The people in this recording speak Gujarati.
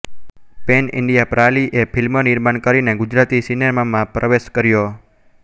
પેન ઇન્ડિયા પ્રા લિ એ ફિલ્મ નિર્માણ કરીને ગુજરાતી સિનેમામાં પ્રવેશ કર્યો